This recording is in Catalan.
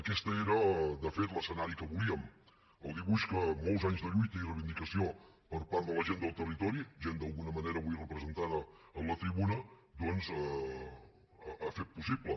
aquest era de fet l’escenari que volíem el dibuix que molt anys de lluita i reivindicació per part de la gent del territori gent d’alguna manera avui representada en la tribuna doncs ha fet possible